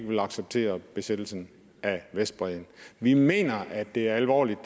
vil acceptere besættelsen af vestbredden vi mener det her alvorligt